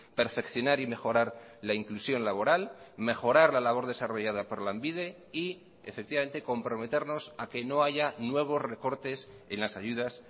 perfeccionar y mejorar la inclusión laboral mejorar la labor desarrollada por lanbide y efectivamente comprometernos a que no haya nuevos recortes en las ayudas